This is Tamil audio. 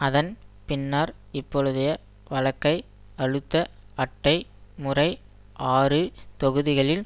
அதன் பின்னர் இப்பொழுதைய வழக்கை அழுத்த அட்டை முறை ஆறு தொகுதிகளில்